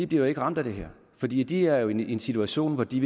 bliver jo ikke ramt af det her for de de er jo i en situation hvor de